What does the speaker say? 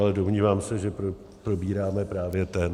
Ale domnívám se, že probíráme právě ten.